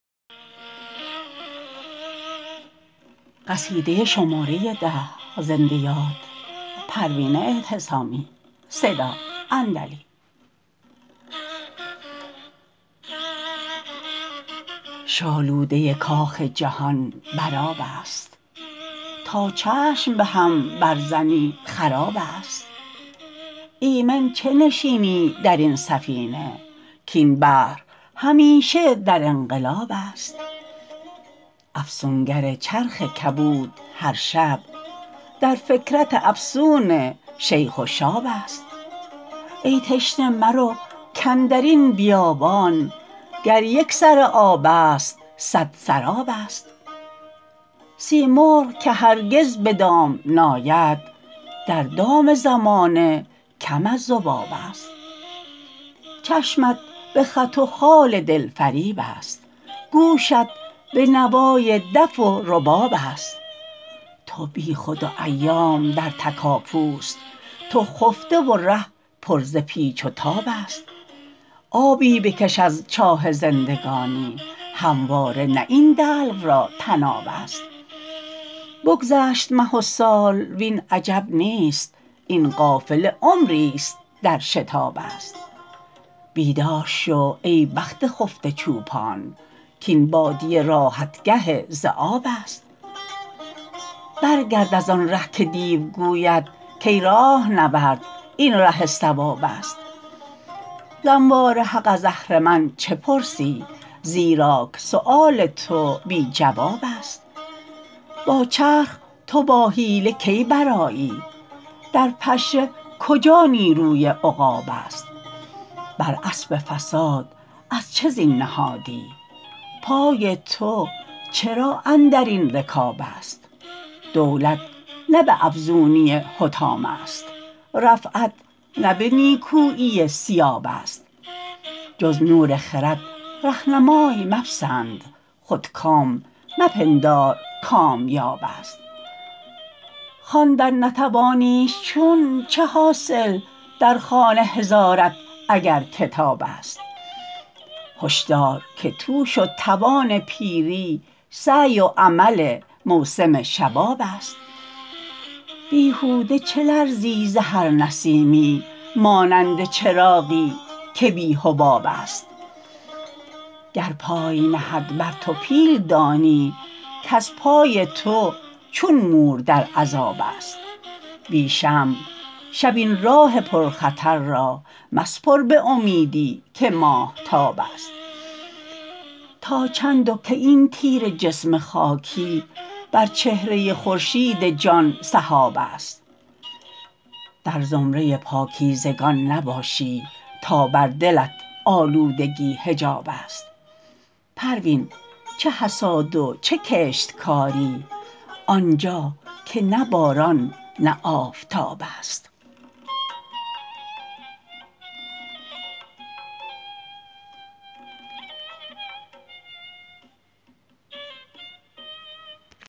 شالوده کاخ جهان بر آبست تا چشم بهم بر زنی خرابست ایمن چه نشینی درین سفینه کاین بحر همیشه در انقلابست افسونگر چرخ کبود هر شب در فکرت افسون شیخ و شابست ای تشنه مرو کاندرین بیابان گر یک سر آبست صد سرابست سیمرغ که هرگز بدام نیاد در دام زمانه کم از ذبابست چشمت بخط و خال دلفریب است گوشت بنوای دف و ربابست تو بیخود و ایام در تکاپو است تو خفته و ره پر ز پیچ و تابست آبی بکش از چاه زندگانی همواره نه این دلو را طنابست بگذشت مه و سال وین عجب نیست این قافله عمریست در شتابست بیدار شو ای بخت خفته چوپان کاین بادیه راحتگه ذیابست بر گرد از آنره که دیو گوید کای راهنورد این ره صوابست ز انوار حق از اهرمن چه پرسی زیراک سیوال تو بی جوابست با چرخ تو با حیله کی برآیی در پشه کجا نیروی عقابست بر اسب فساد از چه زین نهادی پای تو چرا اندرین رکابست دولت نه به افزونی حطام است رفعت نه به نیکویی ثیابست جز نور خرد رهنمای مپسند خودکام مپندار کامیابست خواندن نتوانیش چون چه حاصل در خانه هزارت اگر کتابست هشدار که توش و توان پیری سعی و عمل موسم شبابست بیهوده چه لرزی ز هر نسیمی مانند چراغی که بی حبابست گر پای نهد بر تو پیل دانی کز پای تو چون مور در عذابست بی شمع شب این راه پرخطر را مسپر بامیدی که ماهتابست تا چند و کی این تیره جسم خاکی بر چهره خورشید جان سحابست در زمره پاکیزگان نباشی تا بر دلت آلودگی حجابست پروین چه حصاد و چه کشتکاری آنجا که نه باران نه آفتابست